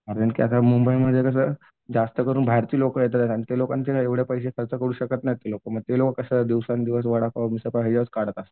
कारण की आता मुंबईमध्ये कसं जास्त करून बाहेरचे लोकं येतात आणि ते लोकांचे कसं एवढं पैसे खर्च करू शकत नाहीत. मग ते लोकं कसं दिवसेंदिवस वडापाव मिसळपाव याच्यावरच काढत असतात.